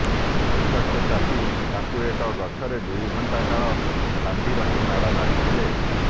ଉତ୍ତ୍ୟକ୍ତ ଚାଷୀ ତାଙ୍କୁ ଏକ ଗଛରେ ଦୁଇଘଣ୍ଟା କାଳ ବାନ୍ଧି ରଖି ମାଡ଼ ମାରିଥିଲେ